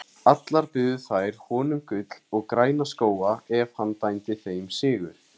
Allar buðu þær honum gull og græna skóga ef hann dæmdi þeim sigur.